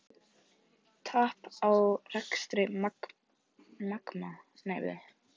Tap á rekstri Magma